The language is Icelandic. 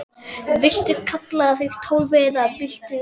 Viltu kalla þig Tólfu eða viltu það ekki?